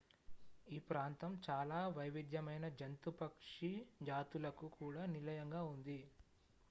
ఈ ప్రాంతం చాలా వైవిధ్యమైన జంతు పక్షి జాతులకు కూడా నిలయంగా ఉంది